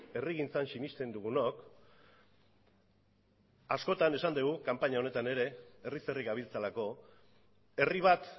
herrigintzan sinesten dugunok askotan esan dugu kanpaina honetan ere herriz herri gabiltzalako herri bat